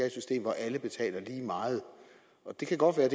et system hvor alle betaler lige meget det kan godt være